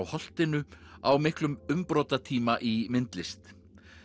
holtinu á miklum umbrotatíma í myndlist